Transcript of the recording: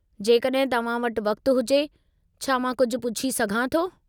जेकॾहिं तव्हां वटि वक़्तु हुजे, छा मां कुझु पुछी सघां थो?